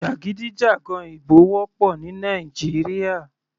Jàgídíjàgan ìbò wọ́pọ̀ ní Nàìjíríà.